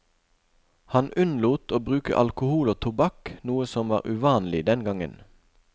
Han unnlot å bruke alkohol og tobakk, noe som var uvanlig den gangen.